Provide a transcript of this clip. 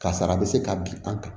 Kasara bɛ se ka bin an kan